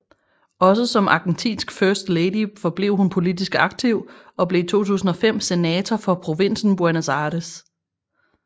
Også som argentinsk first lady forblev hun politisk aktiv og blev i 2005 senator for provinsen Buenos Aires